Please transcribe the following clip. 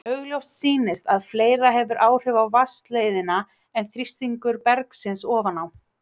Augljóst sýnist að fleira hefur áhrif á vatnsleiðnina en þrýstingur bergsins ofan á.